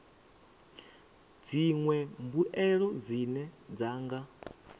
dziṅwe mbuelo dzine dza nga